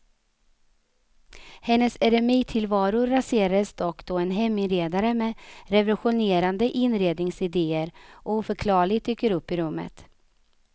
Hennes eremittillvaro raseras dock då en heminredare med revolutionerande inredningsidéer oförklarligt dyker upp i rummet.